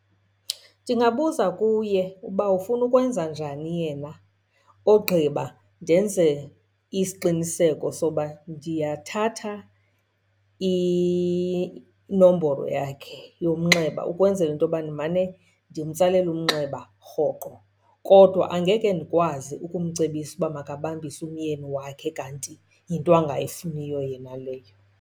Ndingabuza kuye uba ufuna ukwenza njani yena ogqiba ndenze isiqiniseko soba ndiyathatha inombolo yakhe yomnxeba, ukwenzela into yoba ndimane ndimtsalela umnxeba rhoqo. Kodwa angeke ndikwazi ukumcebisa ukuba makabambise umyeni wakhe kanti yinto angayifuniyo yena leyo.